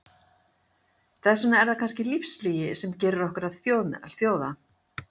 Þess vegna er það kannski lífslygi sem gerir okkur að þjóð meðal þjóða.